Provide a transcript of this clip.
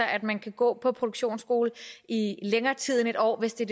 at man kan gå på produktionsskole i længere tid end en år hvis det